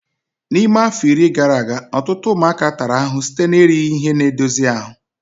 N'ime afọ iri gara aga, ọtụtụ ụmụaka tara ahụhụ site na erighị ihe na-edozi ahụ